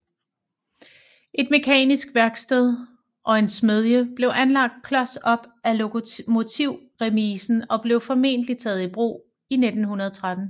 Et mekanisk værksted og en smedie blev anlagt klos op af lokomotivremisen og blev formentlig taget i brug i 1913